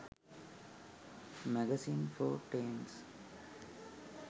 magazines for teens